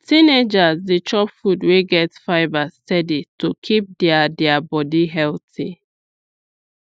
teenagers dey chop food wey get fibre steady to keep their their body healthy